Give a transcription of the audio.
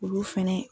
Olu fɛnɛ